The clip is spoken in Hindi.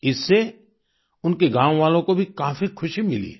इससे उनके गांववालों को भी काफी खुशी मिली है